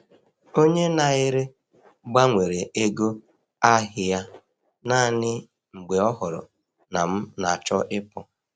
Onye na-ere gbanwere ego ahị a naanị mgbe ọ hụrụ na m na-achọ ịpụ.